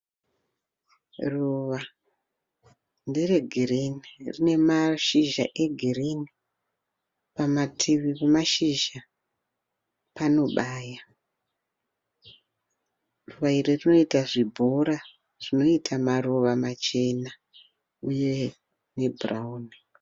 Ruva, ndere girini, rine mashiza egirini, pamativi pemazhizha panobaya . Ruva iri rinoita zvibhora zvinoita maruva machena uye ebhurauni.